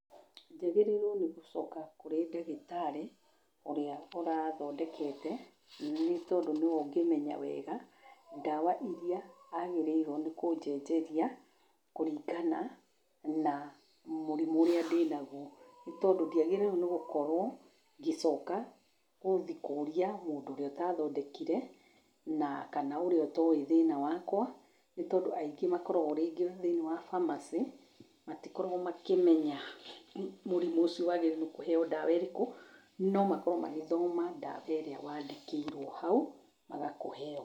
Njagĩrĩiruo nĩ gũcoka kũrĩ ndagĩtarĩ, ũrĩa ũrathondekete, nĩ tondũ nĩ we ũngĩmenya wega ,ndawa iria agĩrĩiruo nĩ kũnjenjeria, kũringana na mũrimũ ũrĩa ndĩ naguo nĩ tondũ ndiagĩrĩiruo, nĩ gũkorwo gĩcoka gũthi kũũria mũndũ ũrĩa ũtathondekire, na kana ũrĩa ũtoĩ thĩna wakwa, nĩ tondũ aingĩ makoragwo rĩngĩ thĩiniĩ wa pharmacy matikoragwo makĩmenya mũrimũ ũcio wagĩrĩiruo nĩ kũheo ndawa irĩkũ ,no makorwo magĩthoma ndawa ĩrĩa wandĩkĩirio hau, agakũhe yo.